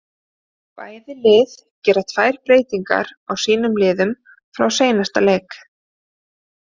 Bæði lið gera tvær breytingar á sínum liðum frá seinasta leik.